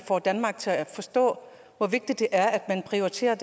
får danmark til at forstå hvor vigtigt det er at prioritere